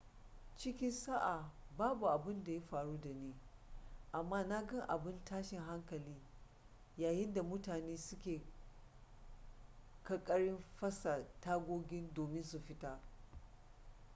cikin sa'a babu abun da ya faru da ni amma na ga abun tashin hankali yayin da mutane suke ƙaƙarin fasa tagogi domin su fita